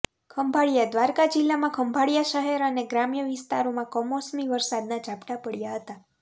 ખંભાળિયાઃ દ્વારકા જિલ્લામાં ખંભાળિયા શહેર અને ગ્રામ્ય વિસ્તારમાં કમોસમી વરસાદના ઝાપટા પડયાં હતાં